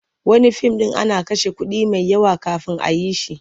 Wani fim ɗin ana kashe kuɗi mai yawa kafin a yi shi.